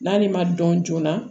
N'ale ma dɔn joona